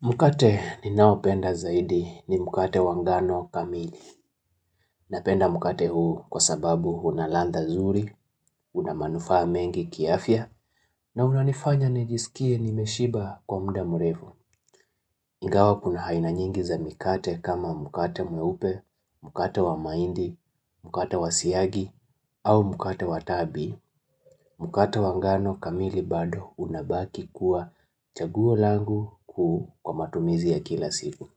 Mkate ninaopenda zaidi ni mkate wa ngano kamili. Napenda mkate huu kwa sababu una ladha zuri, una manufaa mengi kiafya, na unanifanya nijisikie nimeshiba kwa muda mrefu. Ingawa kuna aina nyingi za mikate kama mkate mweupe, mkate wa mahindi, mkate wa siagi, au mkate wa tabi, mkate wa ngano kamili bado unabaki kuwa chaguo langu kuu kwa matumizi ya kila siku.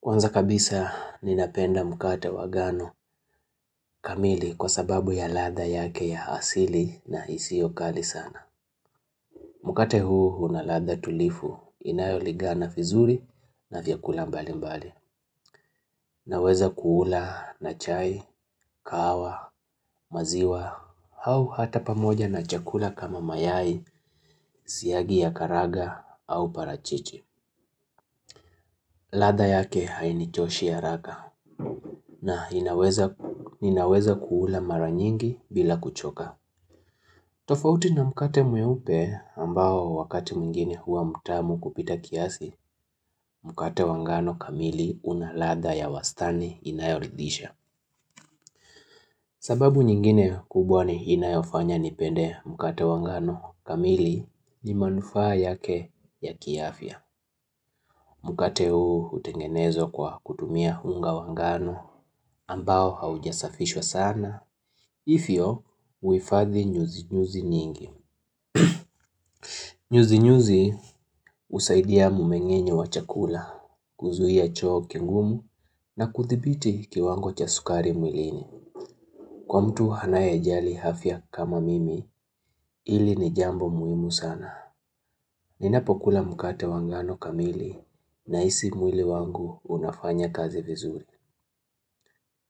Kwanza kabisa ninapenda mkate wa gano kamili kwa sababu ya ladha yake ya asili na isio kali sana. Mkate huu una ladha tulivu inayolingana vizuri na vyakula mbali mbali. Naweza kuula na chai, kahawa, maziwa, au hata pamoja na chakula kama mayai, siyagi ya karanga au parachichi. Ladha yake hainichoshi haraka na ninaweza kuula mara nyingi bila kuchoka. Tofauti na mkate mweupe ambao wakati mwigine huwa mtamu kupita kiasi, mkate wa ngano kamili una ladha ya wastani inayoridhisha. Sababu nyingine kubwa inayofanya nipende mkate wa ngano kamili ni manufaa yake ya kiafya. Mkate huu hutengenezwa kwa kutumia unga wa ngan ambao haujasafishwa sana. Hivyo, huhifadhi nyuzi nyuzi nyingi. Nyuzi nyuzi husaidia mumeng'enye wa chakula, kuzuia choo kingumu na kuthibiti kiwango cha sukari mwilini. Kwa mtu anayejali afya kama mimi, hili ni jambo muhimu sana. Ninapokula mkate wa ngano kamili nahisi mwili wangu unafanya kazi vizuri.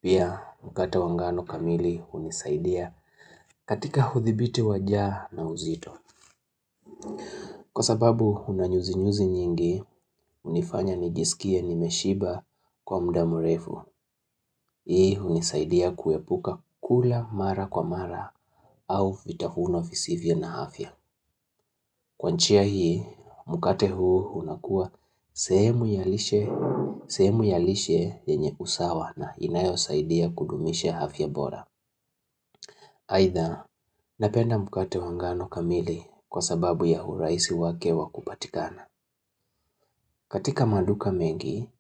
Pia mkate wa ngano kamili hunisaidia katika uthibiti wa njaa na uzito. Kwa sababu una nyuzi nyuzi nyingi unifanya nijisikie nimeshiba kwa muda mrefu. Hii unisaidia kuepuka kula mara kwa mara au vitahuno fisivya na hafya. Kwa njia hii mkate huu unakua sehemu ya lishe yenye usawa na inayosaidia kudumisha afya bora. Aidha, napenda mkate wa ngano kamili kwa sababu ya urahisi wake wa kupatikana. Katika maduka mengi,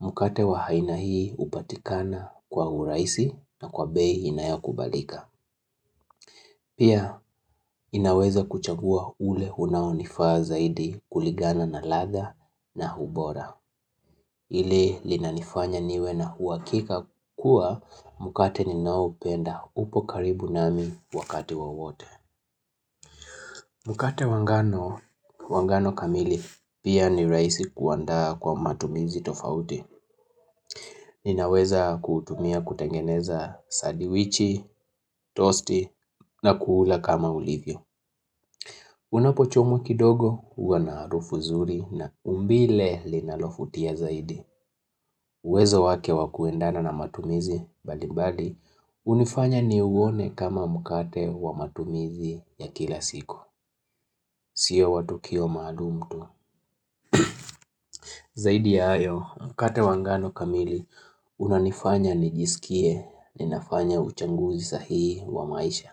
mkate wa aina hii hupatikana kwa urahisi na kwa bei inayokubalika. Pia, inaweza kuchagua ule unaonifaa zaidi kulingana na ladha na ubora. Ile linanifanya niwe na uhakika kuwa mkate ninaoupenda upo karibu nami wakati wowote. Mkate wa ngano, wa ngano kamili, pia ni rahisi kuandaa kwa matumizi tofauti. Ninaweza kutumia kutengeneza sadiwichi, tosti na kuula kama ulivyo. Unapochomu kidogo, huwa na harufu zuri na umbile linalovutia zaidi. Wezo wake wa kuendana na matumizi, mbali mbali, hunifanya niuone kama mkate wa matumizi ya kila siku. Sio wa tukio maalumu tu. Zaidi ya hayo mkate wa ngano kamili unanifanya nijisikie ninafanya uchanguzi sahii wa maisha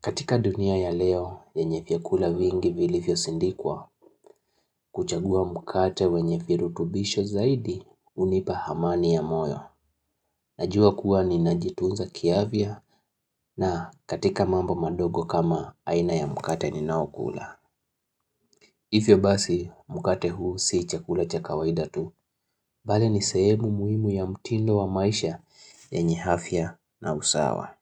katika dunia ya leo yenye vyakula vingi vilivyosindikwa, kuchagua mkate wenye virutubisho zaidi hunipa amani ya moyo Najua kuwa ninajitunza kiafya na katika mambo madogo kama aina ya mkate ninayokula Hivyo basi mkate huu sii chakula cha kawaida tu Bali ni sehemu muhimu ya mtindo wa maisha yenye afya na usawa.